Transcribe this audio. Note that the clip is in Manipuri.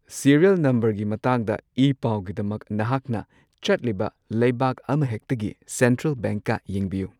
ꯁꯤꯔꯤꯌꯜ ꯅꯝꯕꯔꯒꯤ ꯃꯇꯥꯡꯗ ꯏ ꯄꯥꯎꯒꯤꯗꯃꯛ ꯅꯍꯥꯛꯅ ꯆꯠꯂꯤꯕ ꯂꯩꯕꯥꯛ ꯑꯃꯍꯦꯛꯇꯒꯤ ꯁꯦꯟꯇ꯭ꯔꯦꯜ ꯕꯦꯡꯛꯀ ꯌꯦꯡꯕꯤꯌꯨ꯫